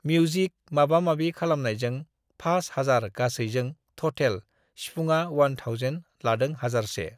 music माबा माबि खालामनायजों फास हाजार गासैजों थटेल(total) सिफुंआ वान थावजेन(one thousand) लादों हाजारसे